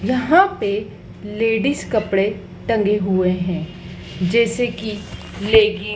यहाँ पे लेडीज़ कपड़े टंगे हुए हैं जैसी की लेगी --